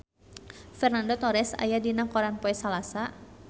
Fernando Torres aya dina koran poe Salasa